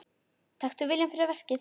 Taktu viljann fyrir verkið.